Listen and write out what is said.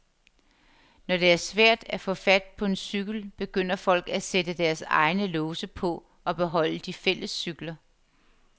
Når det er svært at få fat på en cykel, begynder folk at sætte deres egne låse på og beholde de fælles cykler.